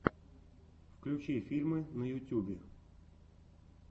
включи фильмы на ютюбе